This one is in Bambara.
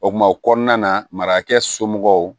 O kuma o kɔnɔna na marakɛ somɔgɔw